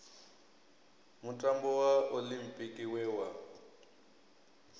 mutambo wa oḽimpiki we wa